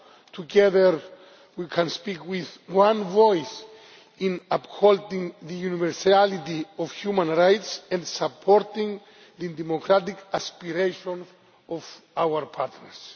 House. Together we can speak with one voice in upholding the universality of human rights and in supporting the democratic aspiration of our partners.